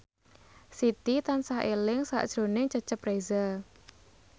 Siti tansah eling sakjroning Cecep Reza